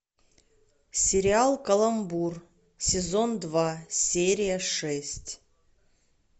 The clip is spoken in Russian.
сериал каламбур сезон два серия шесть